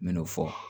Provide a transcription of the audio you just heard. N me n'o fɔ